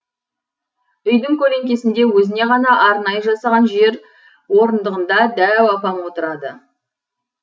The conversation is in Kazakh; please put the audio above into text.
үйдің көлеңкесінде өзіне ғана арнайы жасаған жер орындығында дәу апам отырады